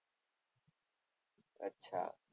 અચ્છા.